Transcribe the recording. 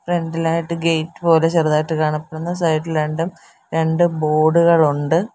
Centre ഇലായിട്ട് gate പോലെ ചെറുതായിട്ട് കാണപ്പെടുന്നു സൈഡ് ഇൽ രണ്ടും രണ്ട് ബോർഡുകളുണ്ട് .